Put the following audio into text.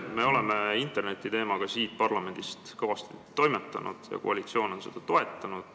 Me oleme siin parlamendis interneti teemat arutades kõvasti toimetanud ja koalitsioon on seda toetanud.